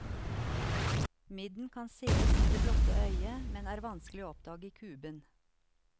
Midden kan sees med det blotte øyet, men er vanskelig og oppdage i kuben.